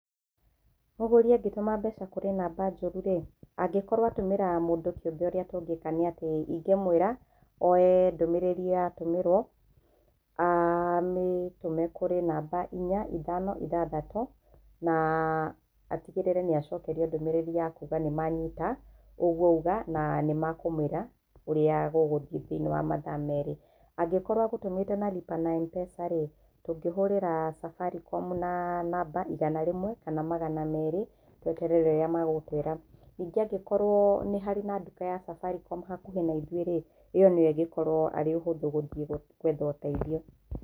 Mũgũrĩ angĩtũma mbeca kũrĩ namba njũru-rĩ, angĩkorwo atũmĩra mũndũ kĩũmbe ũrĩa tũngĩka nĩatĩ ingĩmwĩra oe ndũmĩrĩrĩ ĩo atũmĩrwo amĩtũme kũrĩ namba inya ithano ithathatũ na atigĩrĩre niacokerio ndũmĩrĩri ya kuuga nĩmanyita ũguo auga na nĩmekũmwĩra ũrĩa gũgũthiĩ thĩiniĩ wa mathaa merĩ. Angĩkorũo egũtũmĩte na lipa na M-pesa rĩ, ũngĩhũrĩra cabarikomu na namba igana rĩmwe kana magana merĩ wetere ũrĩa megũkwĩra. Nĩngĩ angĩkorwo nĩ harĩ na nduka ya cabarikomu hakuhĩ na ithuĩ-rĩ, ĩo nĩo ĩngĩkorũo arĩ hũthũ gũthiĩ gũetha ũteithio.